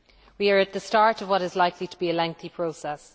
We are at the start of what is likely to be a lengthy process.